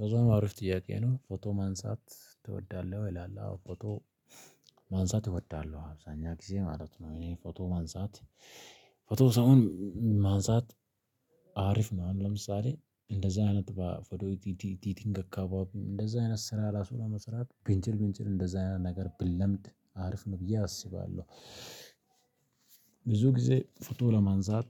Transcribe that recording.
በዛም አሪፍ ጥያቄ ነው። "ፎቶ ማንሳት ትወዳለህ ወይ?" ይላል አዎ ፎቶ ማንሳት እወዳለሁ አብዛኛው ጊዜ ማለት ነው እኔ ፎቶ ማንሳት ፎቶ ሰውን ማንሳት አሪፍ ነው አሁን ለምሳሌ እንደዛ አይነት በ ፎቶ ኤዲቲንግ አካባቢ እንደዛ አይነት ስራ ራሱ ለመስራት ብንችል ብንችል እንደዚህ አይነት ነገር ብንለምድ አሪፍ ነው ብዬ አስባለሁ። ብዙ ጊዜ ፎቶ ለማንሳት